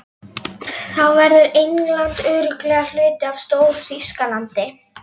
Þá verður England örugglega hluti af Stór-Þýskalandi.